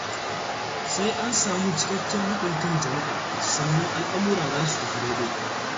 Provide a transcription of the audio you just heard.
Sai an sami cikakken haɗin kan jama'a, sannan al'amura za su tafi daidai.